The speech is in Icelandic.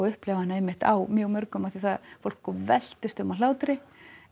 upplifa hana á mjög mörgum því fólk veltist um af hlátri